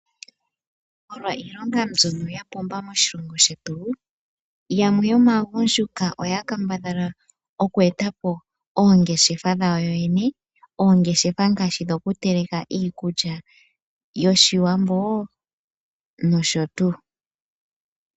Molwa ilonga mbyoka yapumba moshilongo shetu, yamwe yomaagundjuka oya kambadhala oku etapo oongeshefa dhawo yoyene. Oongeshefa ngaashi dhoku teleke iikulya yoshiwambo nosho tuu.